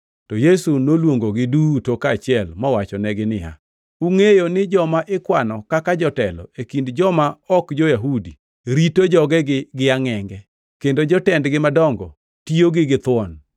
To Yesu noluongogi duto kaachiel mowachonegi niya, “Ungʼeyo ni joma ikwano kaka jotelo e kind joma ok jo-Yahudi rito jogegi gi angʼenge, kendo jotendgi madongo tiyogi githuon.